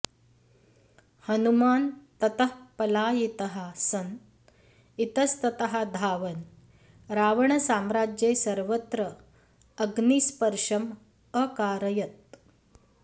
हनुमान् ततः पलायितः सन् इतस्ततः धावन् रावणसाम्राज्ये सर्वत्र अग्निस्पर्शम् अकारयत्